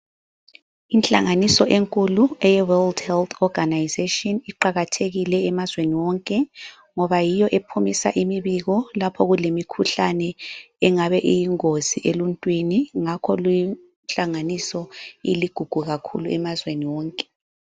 Inhlanganiso enkulu eye World Health Organization iqakathekile emazweni wonke ngoba yiyo ephumisa imibiko lapho kulemikhuhlane engabe iyingozi eluntwini ngakho linhlanganiso iligugu kakhulu emazweni wonke.